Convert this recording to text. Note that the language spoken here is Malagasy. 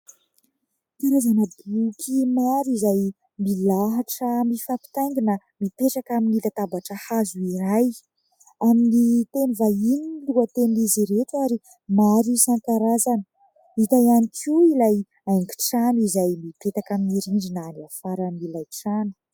Karazana boky maro izay milahatra mifampintaingina, mipetraka amin'ny latabatra hazo iray, amin'ny teny vahiny ny lohatenin'izy ireto ary maro isan-karazany, hita ihany koa ilay haingo-trano izay mipetaka amin'ny rindrina avy afaran'ilay trano.